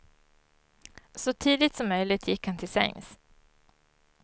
Så tidigt som möjligt gick han till sängs.